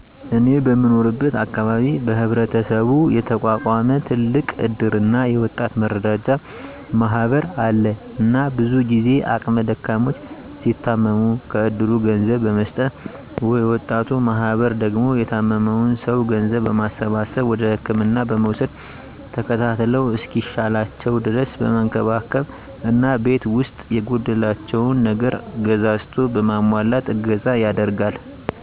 እኔ በምኖርበት አካባቢ በህብረተሰቡ የተቋቋመ ትልቅ እድርና የወጣት መረዳጃ ማህበር አለ እና ብዙ ጊዜ አቅመ ደካሞች ሲታመሙ -ከእድሩ ገንዘብ በመስጠት የወጣቱ ማህበር ደግሞ የታመመዉን ሰዉ ገንዘብ በማሰባሰብ ወደ ህክምና በመዉሰድ ተከታትለዉ እስኪሻላቸዉ ድረስ በመንከባከብ እና ቤት ዉስጥ የጎደላቸውን ነገር ገዛዝቶ በማሟላት እገዛ ያደርጋል